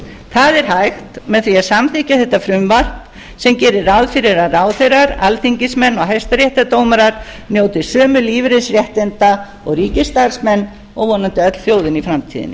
það er hægt með því að samþykkja þetta frumvarp sem gerir ráð fyrir að ráðherrar alþingismenn og hæstaréttardómarar njóti sömu lífeyrisréttinda og ríkisstarfsmenn og vonandi öll þjóðin í framtíðinni